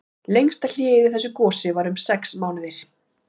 Lengsta hléið í þessu gosi var um sex mánuðir.